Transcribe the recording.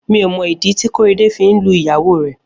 Mi ó mọ idi ti Korede fi n lú ìyáwó rẹ